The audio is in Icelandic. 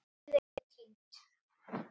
Önnur eru enn týnd.